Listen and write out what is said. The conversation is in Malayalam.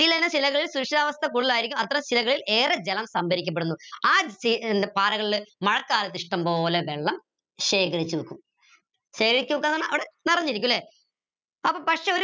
കൃഷിയാവസ്ഥ കൂടുതലായിരിക്കും അത്തരം ഏറെ ജലം സംഭരിക്കപ്പെടുന്നു ആ പാറകളിൽ മഴക്കാലത്ത് ഇഷ്ടം പോലെ വെള്ളം ശേഖരിച്ച് വെക്കും ശേഖരിച്ച് വെക്ക ന്ന് പറഞ്ഞ അവിടെ നിറഞ്ഞിരിക്കും ല്ലെ അപ്പൊ പക്ഷെ